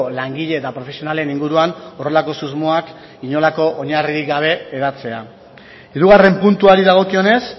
langile eta profesionalen inguruan horrelako susmoak inolako oinarririk gabe hedatzea hirugarren puntuari dagokionez